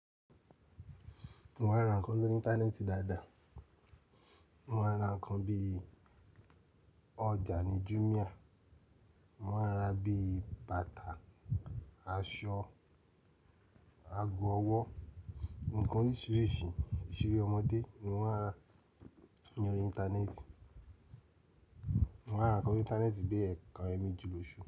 Mo máa ń ra nǹkan lórí Íńtánẹ́ẹ̀tì dáadáa. Mo máa ń ra nǹkan bí i ọjà ní Jumia. Mo máa ń ra bíi bàtà, aṣọ, ago ọwọ́, ǹkan oríṣìíríṣìí, ìṣeré ọmọdé ni mo máa ń ra ní orí Íńtánẹ́ẹ̀tì. Mo máa ń ra nǹkan lori ińtánẹ́ẹ̀tì bí i ẹ̀ẹ̀kan, ẹ́ẹ̀meji lóṣù.